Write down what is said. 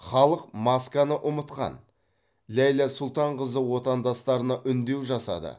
халық масканы ұмытқан ләйлә сұлтанқызы отандастарына үндеу жасады